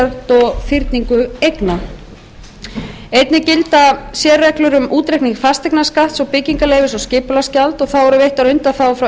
og fyrningu eigna einnig gilda sérreglur um útreikning fasteignaskatts og um byggingarleyfisgjald og skipulagsgjald þá eru veittar undanþágur frá